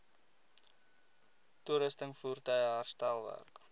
toerusting voertuie herstelwerk